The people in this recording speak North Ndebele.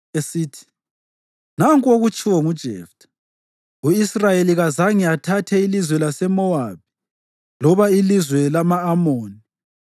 esithi, “Nanku okutshiwo nguJeftha: U-Israyeli kazange athathe ilizwe laseMowabi loba ilizwe lama-Amoni.